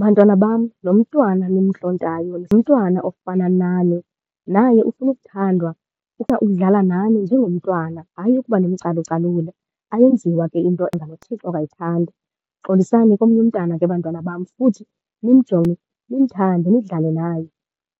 Bantwana bam lo mntwana nimntlontayo ngumntwana ofana nani. Naye ufuna ukuthandwa, ukudlala nani njengomntwana, hayi ukuba nimcalucalule. Ayenziwa ke into uThixo akayithandi. Xolisani komnye umntwana ke bantwana bam futhi nimjonge, nimthande, nidlale naye.